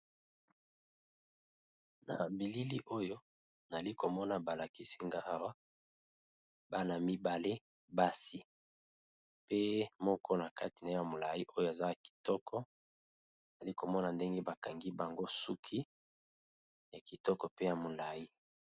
Na bilili oyo nazali komona balakisi nga bana mibale ya basi pe moko ya molai mususu aza mukuse. Nazalaki komona ndenge bakangi bango suki ya kitoko pe ya molai.